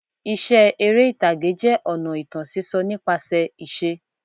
Iṣẹ́ eré ìtàgé jẹ́ ọ̀nà ìtàn sísọ nípasẹ̀ ìṣe.